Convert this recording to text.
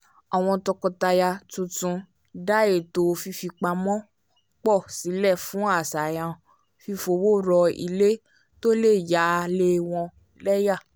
àwọn tọkọtaya tuntun dá ètò fífipamọ́ pọ̀ sílẹ̀ fún àṣàyàn fífọwọ́rọ̀ ilé tó lè yà lé wọn lẹ́yà